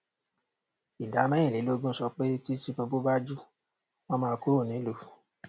ìdá mẹrinlélógún sọ pé tí tinúubú bá jù wọn máa kúrò nílùú